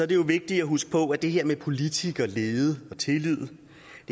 det jo vigtigt at huske på at det her med politikerlede og tillid